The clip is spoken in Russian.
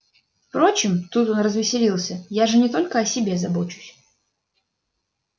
впрочем тут он развеселился я же не только о себе забочусь